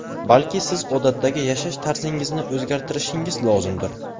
Balki siz odatdagi yashash tarzingizni o‘zgartirishingiz lozimdir.